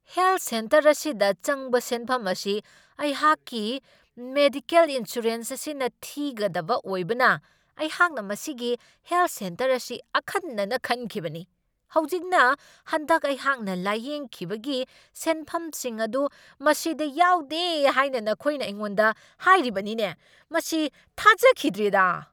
Health centre ꯑꯁꯤꯗ ꯆꯪꯕ ꯁꯦꯟꯐꯝ ꯑꯁꯤ ꯑꯩꯍꯥꯛꯀꯤ ꯃꯦꯗꯤꯋꯦꯜ ꯏꯟꯁꯨꯔꯦꯟꯁ ꯑꯁꯤꯅ ꯊꯤꯒꯗꯕ ꯑꯣꯏꯕꯅ ꯑꯩꯍꯥꯛꯅ ꯃꯁꯤꯒꯤ ꯍꯦꯜꯊ ꯁꯦꯟꯇꯔ ꯑꯁꯤ ꯑꯈꯟꯅꯅ ꯈꯟꯈꯤꯕꯅꯤ ꯫ ꯍꯧꯖꯤꯛꯅ ꯍꯟꯗꯛ ꯑꯩꯍꯥꯛꯅ ꯂꯥꯌꯦꯡꯈꯤꯕꯒꯤ ꯁꯦꯟꯐꯝꯁꯤꯡ ꯑꯗꯨ ꯃꯁꯤꯗ ꯌꯥꯎꯗꯦ ꯍꯥꯏꯅ ꯅꯈꯣꯏꯅ ꯑꯩꯉꯣꯟꯗ ꯍꯥꯏꯔꯤꯕꯅꯤꯅꯦ ? ꯃꯁꯤ ꯊꯥꯖꯈꯤꯗ꯭ꯔꯦꯗꯥ !